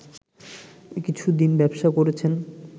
কিছুদিন ব্যবসা করেছেন